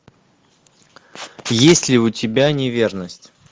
есть ли у тебя неверность